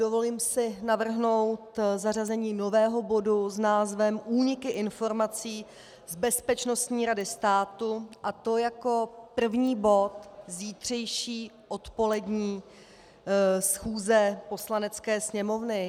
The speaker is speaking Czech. Dovolím si navrhnout zařazení nového bodu s názvem Úniky informací z Bezpečnostní rady státu, a to jako první bod zítřejší odpolední schůze Poslanecké sněmovny.